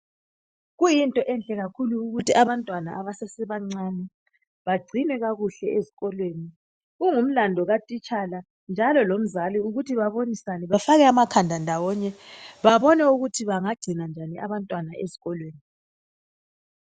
Kuyinto enhle kakhulu ukuthi abantwana abasese bancane bagcinwe kakuhle ezikolweni kungumlando katitshala njalo lomzali ukuthi babonisane bafake amakhanda ndawonye babone ukuthi bangagcina njani abantwana ezikolweni.